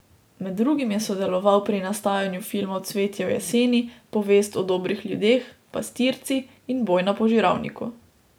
Med drugim je sodeloval pri nastajanju filmov Cvetje v jeseni, Povest o dobrih ljudeh, Pastirci in Boj na požiralniku.